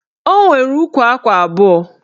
O nwere ukwu akwa abụọ